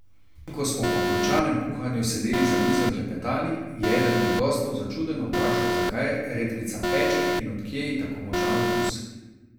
In, ko smo po končanem kuhanju sedeli za mizo in klepetali, je eden od gostov začudeno vprašal zakaj redkvica peče in od kje ji tako močan okus.